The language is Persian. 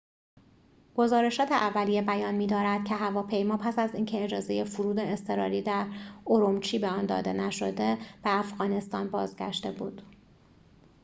گزارشات اولیه بیان می‌دارد که هواپیما پس از اینکه اجازه فرود اضطراری در اورومچی به آن داده نشده به افغانستان بازگشته بود